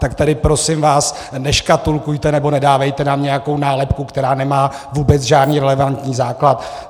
Tak tady prosím vás neškatulkujte nebo nedávejte nám nějakou nálepku, která nemá vůbec žádný relevantní základ.